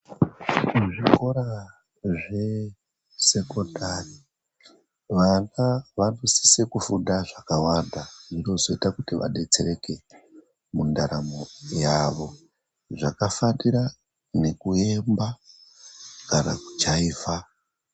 Muzvikora zvesekondari vana vanosisa kufunda zvakawanda zvinozoita kuti vadetsereke mundaramo yavo zvakafanira nekuyemba kana kujaivha .